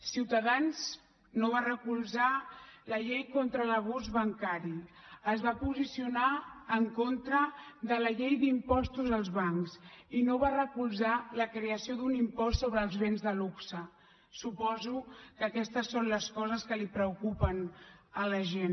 ciutadans no va recolzar la llei contra l’abús bancari es va posicionar en contra de la llei d’impostos als bancs i no va recolzar la creació d’un impost sobre els béns de luxe suposo que aquestes són les coses que preocupen a la gent